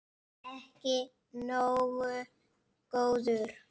Ekki nógu góður!